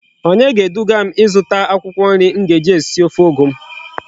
Onye ga edugam izuta akwukwo nri m ga eji esi ofe ugu m?